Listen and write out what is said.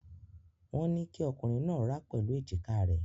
Wọ́n ní kí ọkùnrin náà rá pẹ̀lú èjìká rẹ̀.